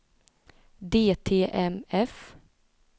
DTMF